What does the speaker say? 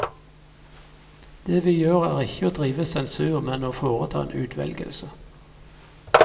Det vi gjør er ikke å drive sensur, men å foreta en utvelgelse.